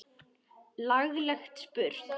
Laglega spurt!